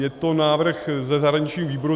Je to návrh ze zahraničního výboru.